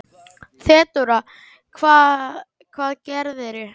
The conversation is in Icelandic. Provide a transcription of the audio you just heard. THEODÓRA: Hvað gerðirðu?